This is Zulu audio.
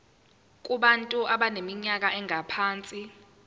kubantu abaneminyaka engaphansi